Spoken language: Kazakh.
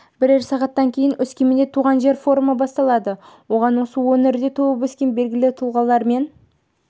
бірер сағаттан кейін өскеменде туған жер форумы басталады оған осы өңірде туып өскен белгілі тұлғалар мен